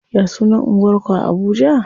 Ya sunan anguwar ku a Abuja?